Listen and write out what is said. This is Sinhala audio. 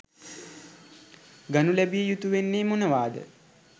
ගනු ලැබිය යුතු වෙන්නේ මොනවාද?